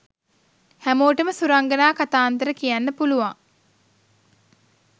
හැමෝටම සුරංගනා කතාන්තර කියන්න පුළුවන්.